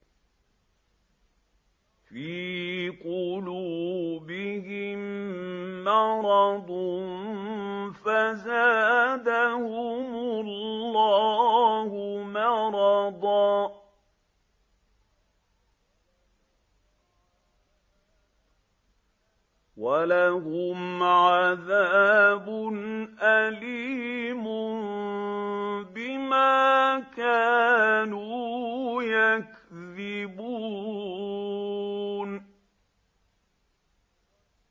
فِي قُلُوبِهِم مَّرَضٌ فَزَادَهُمُ اللَّهُ مَرَضًا ۖ وَلَهُمْ عَذَابٌ أَلِيمٌ بِمَا كَانُوا يَكْذِبُونَ